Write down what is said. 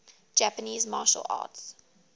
japanese martial arts